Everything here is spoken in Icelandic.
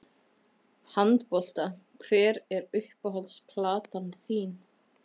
Handbolta Hver er uppáhalds platan þín?